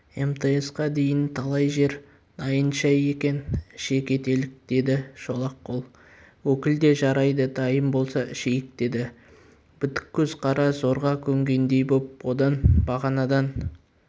мтс-қа дейін талай жер дайын шай екен іше кетелік деді шолақ қол өкіл де жарайды дайын болса ішейік деді бітік көз қара зорға көнгендей боп одан бағанадан